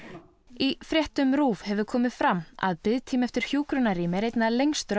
í fréttum RÚV hefur komið fram að biðtími eftir hjúkrunarrými er einna lengstur á